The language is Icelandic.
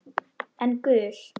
En gul?